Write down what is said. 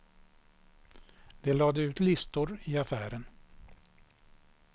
De lade ut listor i affären.